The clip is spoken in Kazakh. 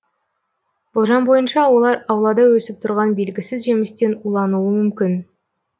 болжам бойынша олар аулада өсіп тұрған белгісіз жемістен улануы мүмкін